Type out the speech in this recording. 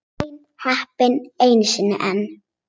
Hrein heppni einu sinni enn.